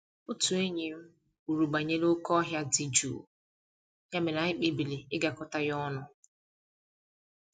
Otu enyi m kwuru banyere oké ọhịa dị jụụ, ya mere anyị kpebiri ịgakọta ya ọnụ